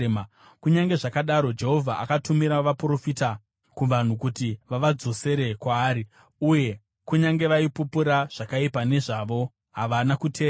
Kunyange zvazvo Jehovha akatumira vaprofita kuvanhu kuti vavadzosere kwaari, uye kunyange vaipupura zvakaipa nezvavo, havana kuteerera.